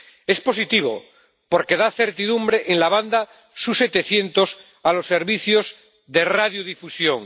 Es positivo porque da certidumbre en la banda sub-700 a los servicios de radiodifusión.